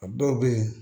A dɔw bɛ yen